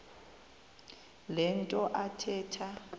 le nto athetha